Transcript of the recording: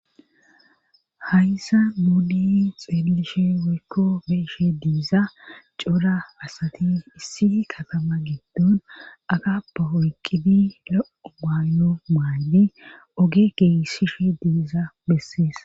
Hayssa muudiy xeelishe woykko beeshe diiza cora asati issi katama geeddon agaba hoyqqibi lo7o maayo maayyi oge geessishi diiza bessees